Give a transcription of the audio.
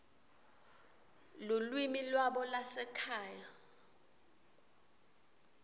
lulwimi lwabo lwasekhaya